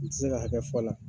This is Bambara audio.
Kun tɛ se ka kɛ fɔlɔ